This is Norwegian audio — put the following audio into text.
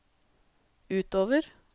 utover